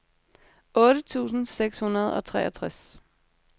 otte tusind seks hundrede og treogtres